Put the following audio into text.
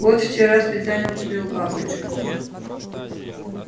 вот вчера специально купил бабочку